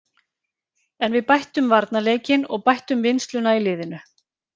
En við bættum varnarleikinn og bættum vinnsluna í liðinu.